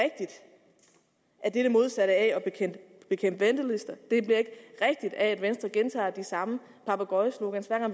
at det er det modsatte af at bekæmpe ventelister det bliver ikke rigtigt af at venstre gentager de samme papegøjesloganer